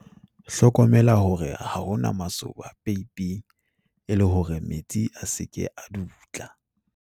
hlokomela hore ha ho na masoba peipeng e le hore metsi a se ke a dutla